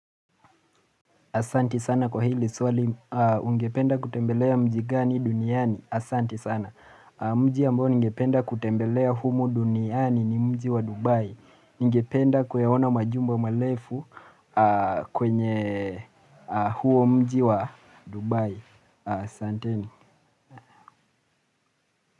Asante sana kwa hili swali ungependa kutembelea mji gani duniani, asante sana Mji ambayo ningependa kutembelea humo duniani ni mji wa Dubai. Ningependa kuyaona majumba marefu kwenye huo mji wa Dubai. Asanteni.